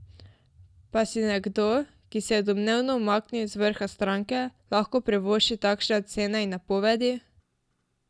Pa si nekdo, ki se je domnevno umaknil z vrha stranke, lahko privošči takšne ocene in napovedi?